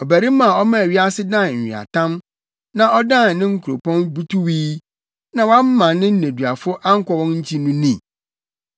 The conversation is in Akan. ɔbarima a ɔmaa wiase dan nweatam, nea ɔdan ne nkuropɔn butuwii na wamma ne nneduafo ankɔ wɔn nkyi no ni?”